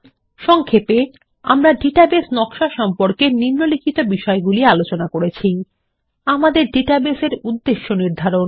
সংক্ষেপে আমরা database design সম্পর্কে নিম্নলিখিত বিষয়গুলি আলোচনা শিখেছি আমাদের ডাটাবেস এর উদ্দেশ্য নির্ধারণ